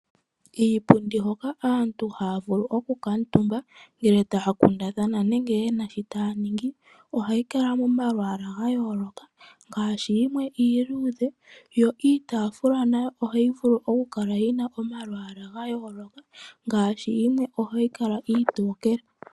Iipundi hoka aantu haya vulu okukantumba ngele aantu taya kundathana nenge yena shi taya ningi ohayi kala moma lwaala ga yooloka ngaashi yimwe iiludhe, yo itaafula nayo ohayi vulu okukala yina omalwaala ga yooloka ngaashi yimwe iitokele.